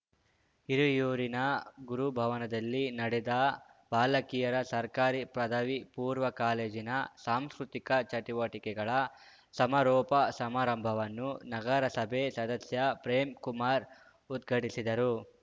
ಹಿರಿಯೂರಿನ ಗುರುಭವನದಲ್ಲಿ ನಡೆದ ಬಾಲಕಿಯರ ಸರ್ಕಾರಿ ಪದವಿ ಪೂರ್ವ ಕಾಲೇಜಿನ ಸಾಂಸ್ಕೃತಿಕ ಚಟುವಟಿಕೆಗಳ ಸಮಾರೋಪ ಸಮಾರಂಭವನ್ನು ನಗರಸಭೆ ಸದಸ್ಯ ಪ್ರೇಮ್‌ಕುಮಾರ್‌ ಉದ್ಘಟಿಸಿದರು